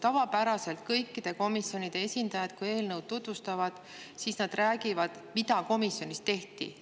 Tavapäraselt kõikide komisjonide esindajad, kui nad eelnõu tutvustavad, räägivad, mida komisjonis tehti.